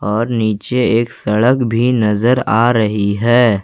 और नीचे एक सड़क भी नजर आ रही है।